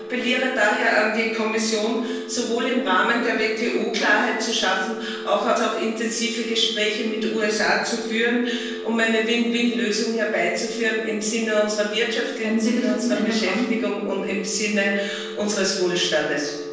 Ich appelliere daher an die Kommission, sowohl im Rahmen der WTO Klarheit zu schaffen als auch intensive Gespräche mit den USA zu führen, um eine Win win Lösung herbeizuführen im Sinne unserer Wirtschaft, im Sinne unserer Beschäftigung und im Sinne unseres Wohlstandes.